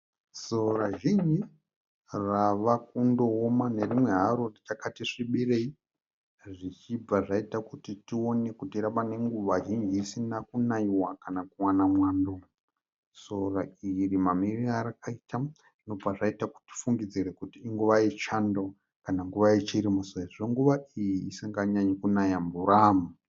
Sora zhinji ravakundooma nerimwe haro richakati svibirei zvichibva zvaita kuti tione kuti rave nenguva zhinji risina kunaiwa kana kuwana mwando. Sora iri mamirire arakaita zvinobva zvaita kuti tifungidzire kuti inguva yechando kana nguva yechirimo sezvo nguva iyi isinganyanyi kunaya mvura.